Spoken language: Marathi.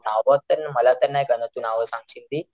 नाव तर मला तर नाही कळणार तू नाव सांगशील ती,